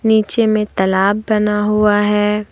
नीचे में तलाब बना हुआ है।